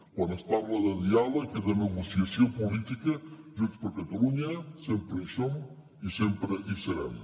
quan es parla de diàleg i de negociació política junts per catalunya sempre hi som i sempre hi serem